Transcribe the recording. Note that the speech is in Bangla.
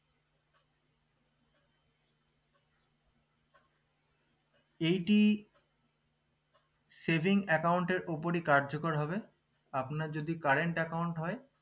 এইটি saving account এর উপরই কার্যকর হবে আপনার যদি current account হয়